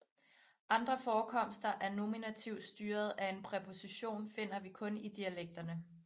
Andre forekomster af nominativ styret af en præposition finder vi kun i dialekterne